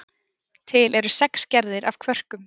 Til eru sex gerðir af kvörkum.